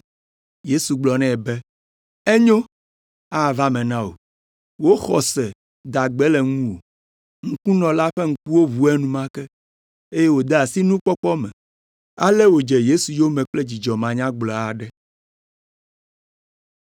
Yesu gblɔ nɛ be, “Enyo, ava eme na wò. Wò xɔse da gbe le ŋuwò.” Ŋkunɔ la ƒe ŋkuwo ʋu enumake, eye wòde asi nukpɔkpɔ me. Ale wòdze Yesu yome kple dzidzɔ manyagblɔ aɖe.